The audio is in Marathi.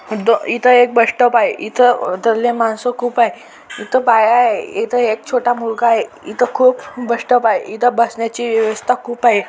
द इथ एक बस स्टॉप आहे. इथ दल्ले माणस खूप आहे इथ बाया आहे एक छोटा मुलगा आहे. इथ खूप बस स्टॉप आहे. इथ बसण्याची व्यवस्था खूप आहे.